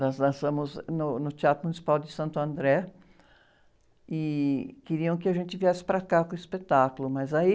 Nós dançamos no, no Teatro Municipal de Santo André e queriam que a gente viesse para cá com o espetáculo, mas aí...